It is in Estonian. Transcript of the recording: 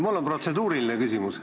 Mul on protseduuriline küsimus.